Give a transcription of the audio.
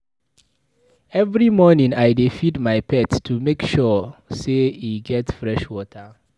Every morning, I dey feed my pet to make ensure sey e get fresh water.